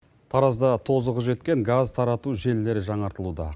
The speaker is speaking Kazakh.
таразда тозығы жеткен газ тарату желілері жаңартылуда